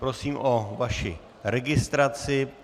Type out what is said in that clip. Prosím o vaši registraci.